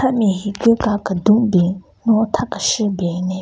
Ame higu ka kedun ben no tha keshü ben ne--